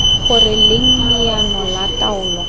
gore leng leano la taolo